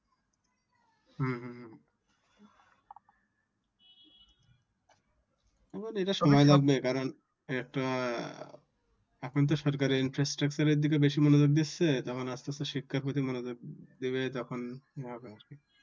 এখন এটা সময় লাগবে কারণ একটা এখন আপনি তো সরকারের Infrastructure এর দিকে বেশি মনযোগ দিচ্ছে তখন আস্তে আস্তে শিক্ষার প্রতি মনযোগ দিবে তখন আর কি।